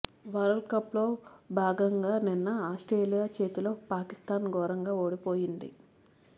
world cup లో భాగంగా నిన్న ఆస్ట్రేలియా చేతితో పాకిస్ధాన్ ఘోరంగా ఓడిపోయింది